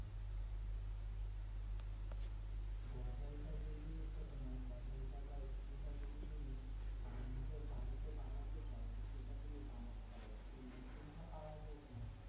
গজাল টা যে জিনিসটা তোমার গজালটা বা স্ক্রুটা তুমি আহ নিজের বাড়িতে বানাতে চাও। তো সেটা তুমি বানাতে পারো। সেই machine টা পাওয়া যায় তোমার